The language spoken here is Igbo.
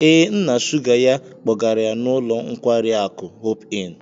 Ee, nna sugar ya kpọgara ya n'ụlọ nkwari akụ hope-in.